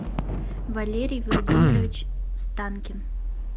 валерий владимирович станкин